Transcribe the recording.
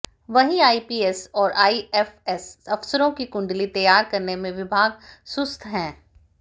वहीं आईपीएस और आईएफएस अफसरों की कुंडली तैयार करने में विभाग सुस्त हैं